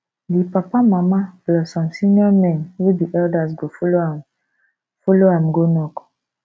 di papa mama plus some senior men wey be elders go follow am follow am go knock